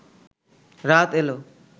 রাত এল